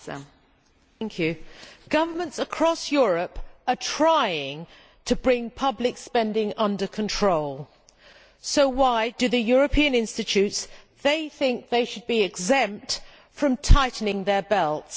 Madam President, governments across Europe are trying to bring public spending under control. So why do the European institutions think they should be exempt from tightening their belts?